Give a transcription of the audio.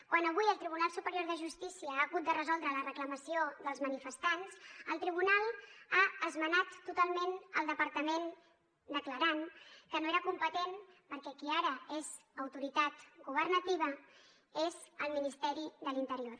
quan avui el tribunal superior de justícia ha hagut de resoldre la reclamació dels manifestants el tribunal ha esmenat totalment el departament declarant que no era competent perquè qui ara és autoritat governativa és el ministeri de l’interior